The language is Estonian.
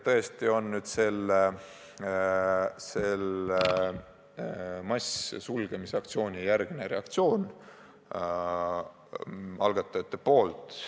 Tegu on algatajate reaktsiooniga sellele massilise sulgemise aktsioonile.